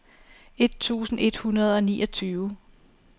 et tusind et hundrede og niogtyve